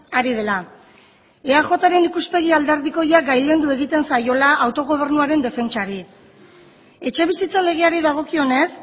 ari dela eajren ikuspegi alderdikoia gailendu egiten zaiola autogobernuaren defentsari etxebizitza legeari dagokionez